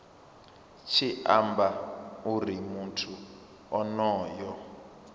tshi amba uri muthu onoyo